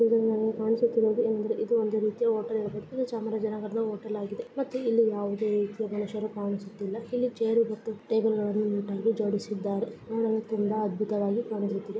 ಈ ಚಿತ್ರದಲ್ಲಿ ಕಾಣಿಸುತ್ತಿರುವುದೇನೆಂದರೆ ಇದು ಒಂದು ರೀತಿಯ ಹೋಟೆಲ್ . ಇದು ಚಾಮರಾಜನಗರದ ಹೋಟೆಲ್ ಆಗಿದೆ ಇಲ್ಲಿ ಯಾವುದೇ ಜನರು ಕಾಣಿಸುತ್ತಿಲ್ಲ. ಚೇರು ಮತ್ತು ಟೇಬಲ್ ಗಳನ್ನು ಹಾಕಲಾಗಿದೆ ನೋಡಲು ಅದ್ಭುತವಾಗಿದೆ.